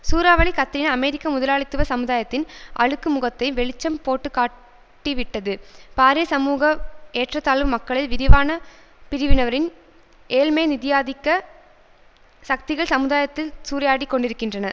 சூறாவளி கத்திரினா அமெரிக்க முதலாளித்துவ சமுதாயத்தின் அழுக்கு முகத்தை வெளிச்சம் போட்டுக்காட்டிவிட்டது பாரிய சமூக ஏற்றத்தாழ்வு மக்களில் விரிவான பிரிவினரின் ஏழ்மை நிதியாதிக்க சக்திகள் சமுதாயத்தில் சூறையாடிக் கொண்டிருக்கின்றன